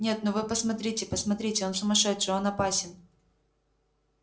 нет ну вы посмотрите посмотрите он сумасшедший он опасен